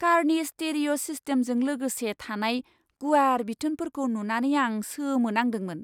कारनि स्टिरिय' सिस्टेमजों लोगोसे थानाय गुवार बिथोनफोरखौ नुनानै आं सोमोनांदोंमोन!